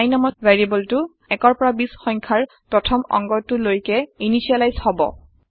i নামৰ local ভেৰিয়েবলটো ১ৰ পৰা ২০ৰ সংখ্যাৰ প্ৰথম অংগটো লৈকে ইনিচিয়েলাইজ হব